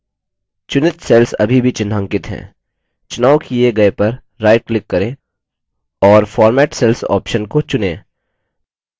चुनित cells अभी भी चिन्हांकित हैं चुनाव the गए पर right click करें और format cells option को चुनें